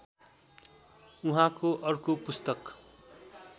उहाँको अर्को पुस्तक